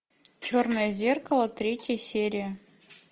черное зеркало третья серия